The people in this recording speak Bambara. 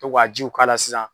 To ka jiw k'a la sisan.